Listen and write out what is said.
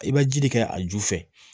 I bɛ ji de kɛ a ju fɛ